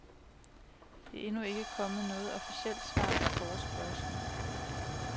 Der er endnu ikke kommet noget officielt svar på forespørgslen.